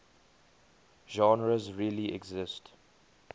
genres really exist